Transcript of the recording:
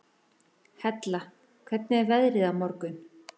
Hella, hvernig er veðrið á morgun?